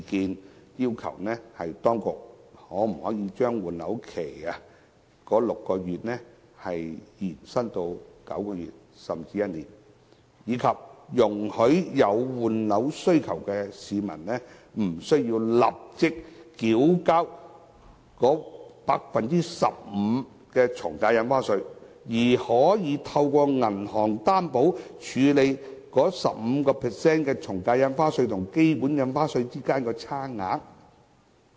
我們要求當局把6個月換樓期延伸至9個月甚至1年，以及容許有換樓需要的市民無須立即繳交 15% 的從價印花稅，以及可以透過銀行擔保，處理 15% 從價印花稅與基本印花稅之間的差額。